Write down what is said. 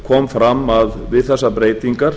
kom fram að við þessar breytingar